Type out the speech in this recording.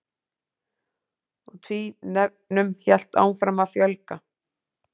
Og tvínefnum hélt áfram að fjölga.